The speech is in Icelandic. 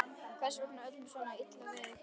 Hvers vegna var öllum svona illa við hann í kvöld?